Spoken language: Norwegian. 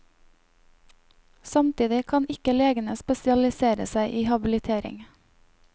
Samtidig kan ikke legene spesialisere seg i habilitering.